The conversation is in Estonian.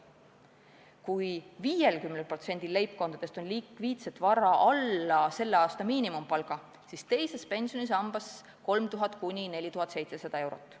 Kui 50%-l leibkondadest on likviidset vara alla selle aasta miinimumpalga, siis teises pensionisambas on neil 3000–4700 eurot.